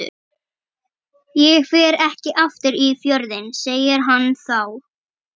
Ég fer ekki aftur í Fjörðinn, segir hann þá.